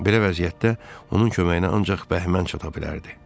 Belə vəziyyətdə onun köməyinə ancaq Bəhmən çata bilərdi.